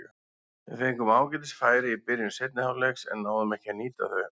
Við fengum ágætis færi í byrjun seinni hálfleiks en náðum ekki að nýta þau.